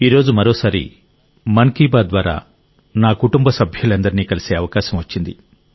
ఈరోజు మరోసారి మన్ కీ బాత్ ద్వారా నా కుటుంబ సభ్యులందరినీ కలిసే అవకాశం వచ్చింది